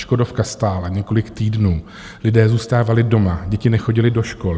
Škodovka stála několik týdnů, lidé zůstávali doma, děti nechodily do škol.